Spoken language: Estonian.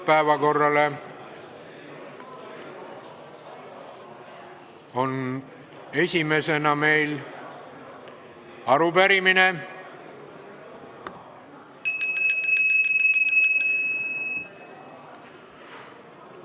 Esimene on arupärimine ...